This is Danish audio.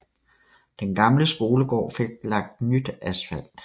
Den gamle skolegård fik lagt nyt asfalt